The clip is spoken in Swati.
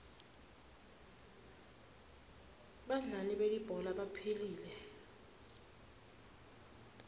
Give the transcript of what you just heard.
badlali belibhola baphilile